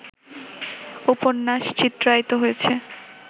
উপন্যাস চিত্রায়িত হয়েছে